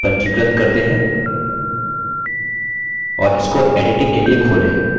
और इसको editing के लिए खोलें